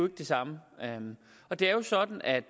det samme og det er jo sådan at